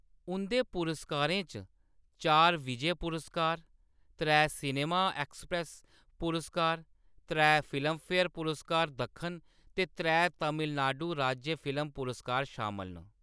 उंʼदे पुरस्कारें च चार विजय पुरस्कार, त्रै सिनेमा एक्सप्रेस पुरस्कार, त्रै फिल्मफेयर पुरस्कार दक्खन ते त्रै तमिलनाडु राज्य फिल्म पुरस्कार शामल न।